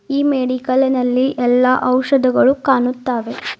ಈ ಮೆಡಿಕಲಿನಲ್ಲಿ ಎಲ್ಲಾ ಔಷಧಗಳು ಕಾಣುತ್ತಾವೆ.